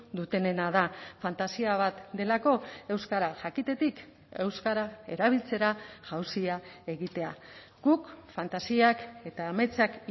dutenena da fantasia bat delako euskara jakitetik euskara erabiltzera jauzia egitea guk fantasiak eta ametsak